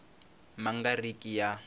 ma nga ri ki ya